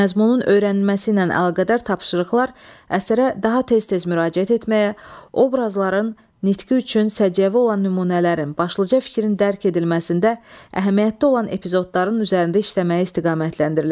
Məzmunun öyrənilməsi ilə əlaqədar tapşırıqlar əsərə daha tez-tez müraciət etməyə, obrazların nitqi üçün səciyyəvi olan nümunələrin, başlıca fikrin dərk edilməsində əhəmiyyətli olan epizodların üzərində işləməyə istiqamətləndiriləcək.